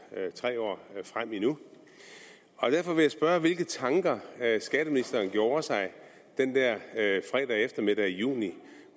til tre år frem endnu derfor vil jeg spørge hvilke tanker skatteministeren gjorde sig den der fredag eftermiddag i juni